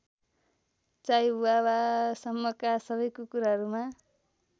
चाइहुवावासम्मका सबै कुकुरहरूमा